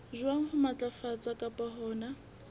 jwang ho matlafatsa kapa hona